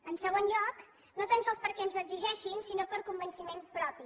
en segon lloc no tan sols perquè ens ho exigeixin sinó per convenciment propi